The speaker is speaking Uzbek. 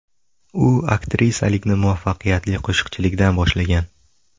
U aktrisalikni muvaffaqiyatli qo‘shiqchilikdan boshlagan.